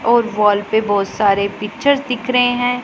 और वॉल पे बहोत सारे पिक्चर दिख रहे हैं।